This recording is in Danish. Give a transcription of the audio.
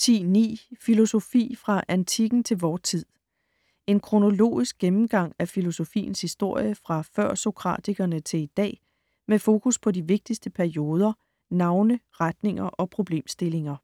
10.9 Filosofi - fra antikken til vor tid En kronologisk gennemgang af filosofiens historie fra før-sokratikerne til i dag, med fokus på de vigtigste perioder, navne, retninger og problemstillinger.